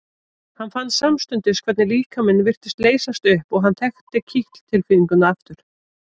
Hann fann samstundis hvernig líkaminn virtist leysast upp og hann þekkti kitl tilfinninguna aftur.